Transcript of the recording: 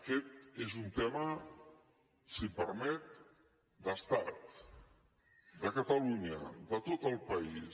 aquest és un tema si em permet d’estat de catalunya de tot el país